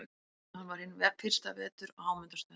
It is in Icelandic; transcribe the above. Hann var hinn fyrsta vetur á Hámundarstöðum.